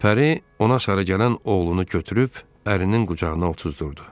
Pəri ona sarı gələn oğlunu götürüb ərinin qucağına otuzdurdu.